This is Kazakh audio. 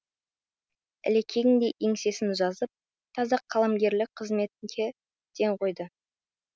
ілекең де еңсесін жазып таза қаламгерлік қызметке ден қойды